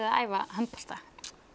að æfa handbolta